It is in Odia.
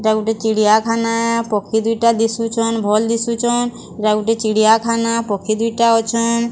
ଏଟା ଗୁଟେ ଚିଡ଼ିଆଖାନା ପକ୍ଷୀ ଦୁଇଟା ଦିଶୁଛନ୍। ଭଲ୍ ଦିଶୁଚନ୍ ଏଟା ଗୁଟେ ଚିଡ଼ିଆଖାନା ପକ୍ଷୀ ଦୁଇଟା ଅଛ।